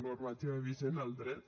normativa vigent el dret